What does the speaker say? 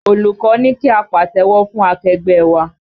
Olùkọ́ ní kí á pàtẹ́wọ́ fún akẹgbẹ́ ẹ wa